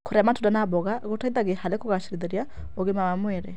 Kũrĩa matunda na mboga gũteithagia harĩ kũgacĩrithia ũgima wa mwĩrĩ.